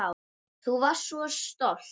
Þú varst svo stolt.